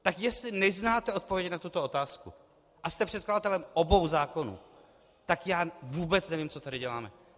Tak jestli neznáte odpověď na tuto otázku a jste předkladatelem obou zákonů, tak já vůbec nevím, co tady děláme.